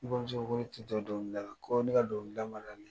N bamuso ko ne tɛ don dɔngili da la. ko ne ka dɔngili da man d'ale ye.